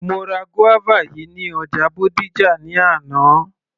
Mo ra guava yìí ní ọjà Bódìjà ní àná